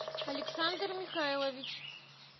александр михайлович